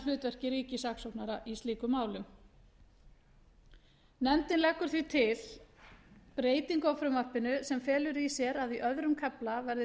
hlutverki ríkissaksóknara í slíkum málum nefndin leggur því til breytingu á frumvarpinu sem felur í sér að í öðrum kafla verði tuttugasta og sjöttu